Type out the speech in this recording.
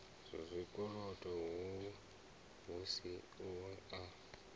zwikolodo hu si u a